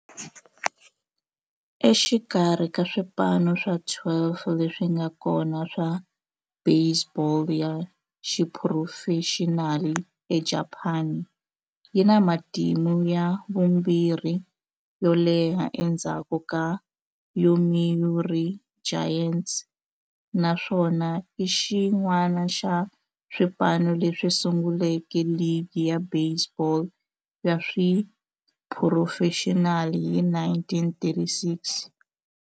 Exikarhi ka swipano swa 12 leswi nga kona swa baseball ya xiphurofexinali eJapani, yi na matimu ya vumbirhi yo leha endzhaku ka Yomiuri Giants, naswona i xin'wana xa swipano leswi sunguleke ligi ya baseball ya xiphurofexinali hi 1936.